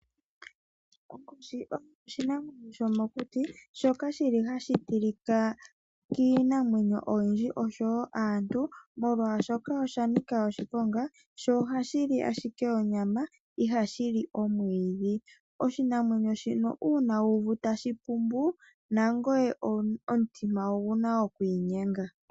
Onkoshi oyo oshinamwenyo shomokuti shoka shili hashi tilika kiinamwenyo oyindji oshowo kaantu, molwashoka osha nika oshiponga sho ohashi li ashike onyama ihashi li omwidhi. Oshinamwenyo shino una wu uvu tashi pumbu nangoye omutima oguna oku inyenga.